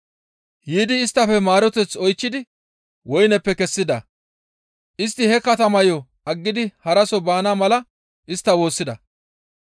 Yiidi isttafe maareteth oychchidi woyneppe kessida; istti he katamayo aggidi haraso baana mala istta woossida.